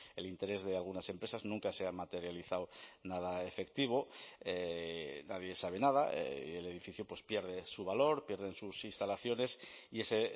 el interés de algunas empresas nunca se ha materializado nada efectivo nadie sabe nada y el edificio pierde su valor pierden sus instalaciones y ese